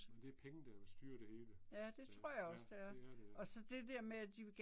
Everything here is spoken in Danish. Det er penge der styrer det hele. Ja, det er det ja